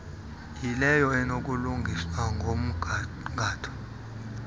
yileyo enokulungiswa ngomgangatho